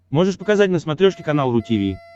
можешь показать на смотрешке канал ру ти ви